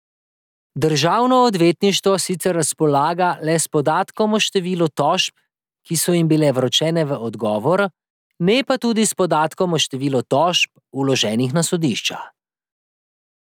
Državno odvetništvo sicer razpolaga le s podatkom o številu tožb, ki so jim bile vročene v odgovor, ne pa tudi s podatkom o številu tožb, vloženih na sodišča.